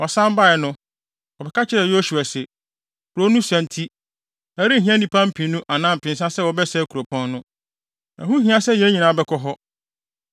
Wɔsan bae no, wɔbɛka kyerɛɛ Yosua se, “Kurow no sua nti, ɛrenhia nnipa mpennu anaa mpensa sɛ wɔbɛsɛe kuropɔn no. Ɛho nhia sɛ yɛn nyinaa bɛkɔ hɔ.”